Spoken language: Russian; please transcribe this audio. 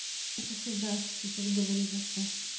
а ещё хуй знает что тебе сейчас говорить вообще